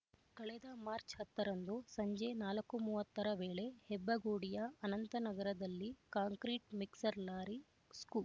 ಕಳೆದ ಮಾರ್ಚ್ ಹತ್ತು ರಂದು ಸಂಜೆ ನಾಲ್ಕು ಮೂವತ್ತ ರ ವೇಳೆ ಹೆಬ್ಬಗೋಡಿಯ ಅನಂತನಗರದಲ್ಲಿ ಕಾಂಕ್ರೀಟ್ ಮಿಕ್ಸರ್ ಲಾರಿ ಸ್ಕೂ